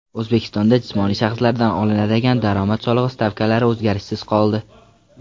O‘zbekistonda jismoniy shaxslardan olinadigan daromad solig‘i stavkalari o‘zgarishsiz qoldi.